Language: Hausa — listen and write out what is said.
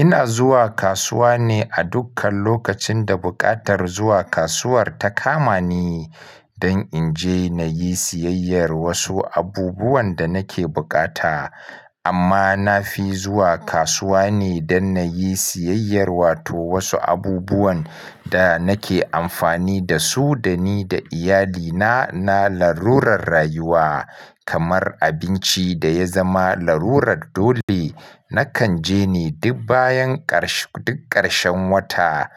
Ina zuwa kasuwa ne a dukkan lokacin da buƙatar zuwa kasuwar ta kama ni dan inje nayi sayayyar wasu abubuwan da nake bukata amma na fi zuwa kasuwa ne don na yi siyayyar wato wasu abubuwan da nake amfani da su da ni da iyalina na larurar rayuwa kamar abinci da ya zama larurar dole. Nakan je ne duk bayan ƙarshe duk ƙarshen wata.